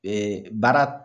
Ee baara